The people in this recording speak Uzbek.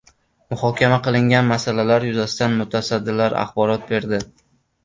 Muhokama qilingan masalalar yuzasidan mutasaddilar axborot berdi.